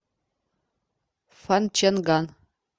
фанчэнган